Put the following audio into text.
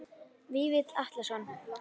Vífill Atlason